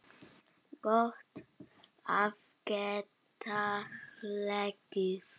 Gott að geta hlegið.